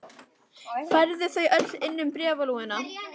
Færðu þau öll inn um bréfalúguna?